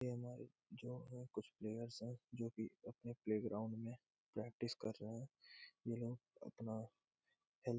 या हमारे जो है कुछ प्लेयर्स है जो कि अपने प्लेग्राउंड में प्रैक्टिस कर रहे है। ये लोग अपना हेल्थ --